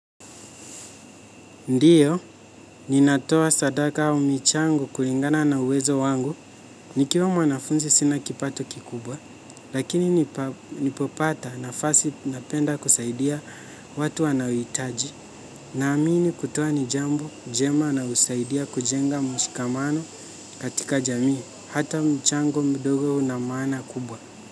Ndiyo, ninatoa sadaka au michango kulingana na uwezo wangu, nikiwa mwanafunzi sina kipato kikubwa, lakini nipopata nafasi napenda kusaidia watu wanaohitaji, naamini kutoa ni jambo, jema na husaidia kujenga mshikamano katika jamii, hata mchango mdogo una maana kubwa.